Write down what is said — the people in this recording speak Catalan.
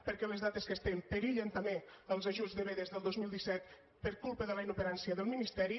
perquè a les dates que estem perillen també els ajuts de vedes del dos mil disset per culpa de la inoperància del ministeri